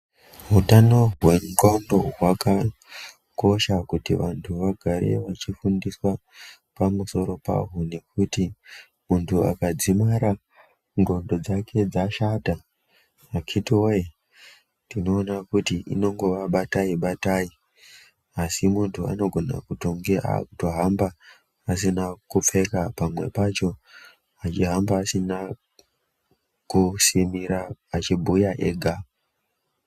Hutano hwendxondo hwakakosha kuti vantu vagare vachifundiswa pamusoro pahwo nekuti muntu akadzimara ndxondo dzake dzashata akhiti woye tinoona kuti inongova batai batai asi muntu anogona kutonge akuhamba asina kupfeka pamwe pacho achihamba asina kusimira achibhuya ega.